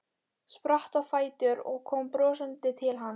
Spratt á fætur og kom brosandi til hans.